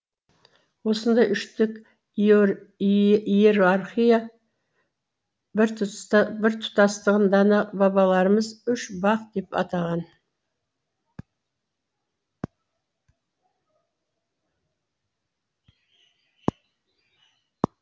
осындай үштік иерархия біртұтастығын дана бабаларымыз үш бақ деп атаған